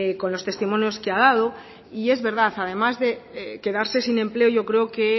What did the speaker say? con los testimonios que ha dado y es verdad además de quedarse sin empleo yo creo que